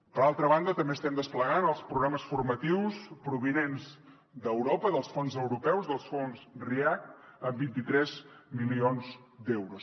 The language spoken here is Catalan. per altra banda també estem desplegant els programes formatius provinents d’europa dels fons europeus dels fons react amb vint tres milions d’euros